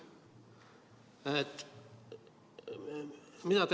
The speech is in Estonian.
Mida te ütlete?